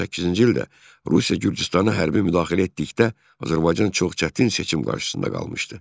2008-ci ildə Rusiya Gürcüstana hərbi müdaxilə etdikdə, Azərbaycan çox çətin seçim qarşısında qalmışdı.